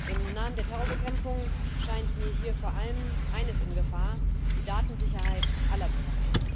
Im Namen der Terrorbekämpfung scheint mir hier vor allem eines in Gefahr die Datensicherheit aller Bürger.